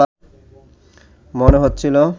মনে হচ্ছিল